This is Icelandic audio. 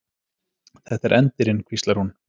Þetta er endirinn, hvíslar hún.